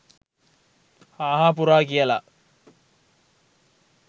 හා හා පුරා කියලා